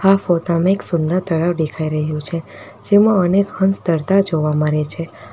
આ ફોટા માં એક સુંદર તળાવ દેખાઈ રહ્યું છે જેમાં અનેક હંસ તરતા જોવા મરે છે.